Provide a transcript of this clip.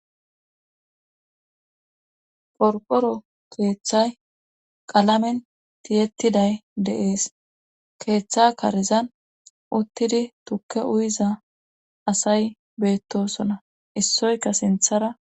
Qoriqoro keeththay qalamen tiyettiday de7es keeththa karizan uttidi tukke uyiza asay beettosona issoyka sinthara